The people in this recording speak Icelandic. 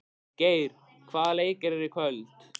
Geir, hvaða leikir eru í kvöld?